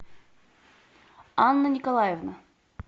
анна николаевна